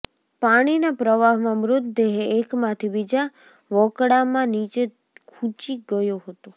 પાણીના પ્રવાહમાં મૃતદેહે એકમાંથી બીજા વોકળામાં નીચે ખુંચી ગયો હતો